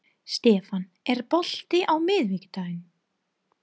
Stefán, er bolti á miðvikudaginn?